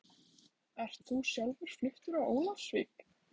Ert þú sjálfur fluttur á Ólafsvík?